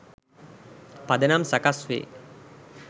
පදනම් සකස් වේ.